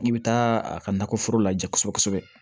I bɛ taa a ka nakɔ foro la ja kosɛbɛ kosɛbɛ